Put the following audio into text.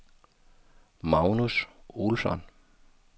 Magnus Olsson